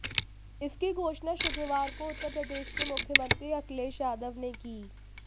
इसकी घोषणा शुक्रवार को उत्तर प्रदेश के मुख्यमंत्री अखिलेश यादव ने की